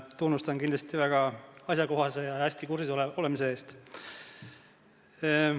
Tunnustan kindlasti väga asjakohase küsimuse ja teemaga hästi kursis olemise eest.